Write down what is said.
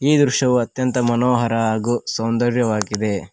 ಈ ದೃಶ್ಯವು ಅತ್ಯಂತ ಮನೋಹರ ಹಾಗೂ ಸೌಂದರ್ಯವಾಗಿದೆ.